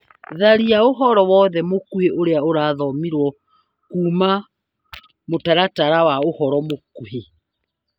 Tharia ũhoro wothe mũkuhĩ ũrĩa ũrathomirwo kuma mũtaratara wa ũhoro mũkuhĩ .